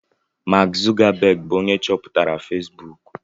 Mark zukabegi bu onye cheputara fesbuku